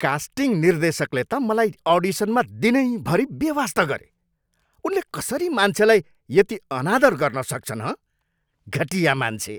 Casting निर्देशकले त मलाई अडिसनमा दिनैभरि बेवास्ता गरे। उनले कसरी मान्छेलाई यति अनादर गर्न सक्छन्, हँ? घटिया मान्छे!